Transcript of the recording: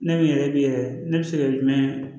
Ne min yɛrɛ bi yɛrɛ ne bi se ka jumɛn